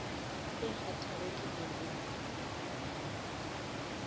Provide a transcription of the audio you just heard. e kgathago ke ner mo